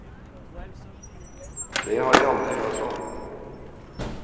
Det har jeg aldri hørt om.